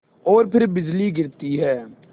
और फिर बिजली गिरती है